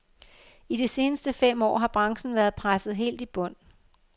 I de seneste fem år har branchen været presset helt i bund.